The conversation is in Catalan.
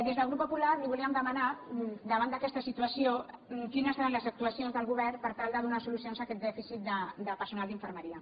des del grup popular li voldríem demanar davant d’aquesta situació quines eren les actuacions del govern per tal de donar solucions a aquest dèficit de personal d’infermeria